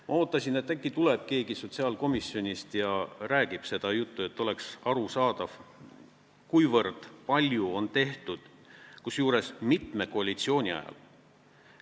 " Ma ootasin, et äkki tuleb keegi sotsiaalkomisjonist ja räägib seda juttu, et oleks arusaadav, kui palju on tehtud, kusjuures mitme koalitsiooni ajal.